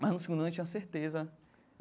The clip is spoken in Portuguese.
Mas no segundo ano eu tinha certeza.